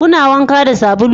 Kuna wanka da sabulu?